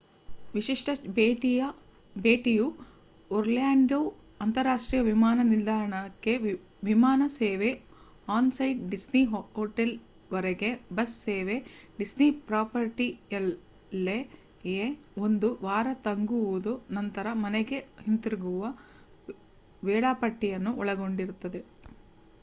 "ವಿಶಿಷ್ಟ ಭೇಟಿ"ಯು ಒರ್ಲ್ಯಾಂಡೊ ಅಂತರರಾಷ್ಟ್ರೀಯ ವಿಮಾನ ನಿಲ್ದಾಣಕ್ಕೆ ವಿಮಾನ ಸೇವೆ ಆನ್-ಸೈಟ್ ಡಿಸ್ನಿ ಹೋಟೆಲ್‌ವರೆಗೆ ಬಸ್ ಸೇವೆ ಡಿಸ್ನಿ ಪ್ರಾಪರ್ಟಿಯಲ್ಲ್ಲಯೇ ಒಂದು ವಾರ ತಂಗುವುದು ನಂತರ ಮನೆಗೆ ಹಿಂತಿರುಗುವ ವೇಳಾಪಟ್ಟಿಯನ್ನು ಒಳಗೊಂಡಿರುತ್ತದೆ